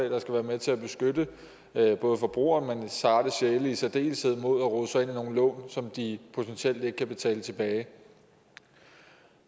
der skal være med til at beskytte forbrugere men sarte sjæle i særdeleshed mod at rode sig ind i nogle af lån som de potentielt ikke kan betale tilbage